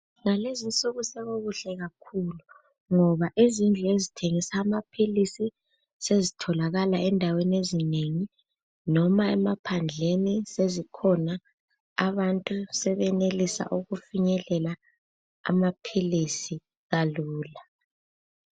Ngalezi insuku sokukuhle kakhulu ngoba izindlu ezithengisa amaphilisi sezitholakala endaweni ezinengi noma emaphandleni sezikhona. Abantu sebenelisa ukufinyelela amaphilisi kalula.